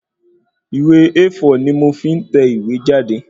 Ìwé A4 ni mò fí ń tẹ ìwé jáde